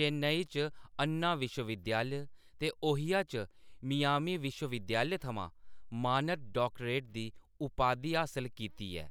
चेन्नई च अन्ना विश्वविद्यालय ते ओहियो च मियामी विश्वविद्यालय थमां मानद डाक्टरेट दी उपाधि हासल कीती ऐ।